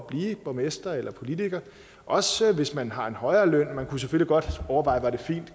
blive borgmester eller politiker også hvis man har en højere løn man kunne selvfølgelig godt overveje